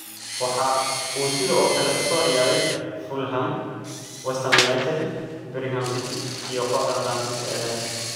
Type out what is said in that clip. Waxa uu sidoo kale u soo ciyaaray Fulham, West Ham United, Birmingham City iyo kooxda Faransiiska ee Lens.